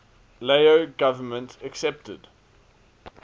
lao government accepted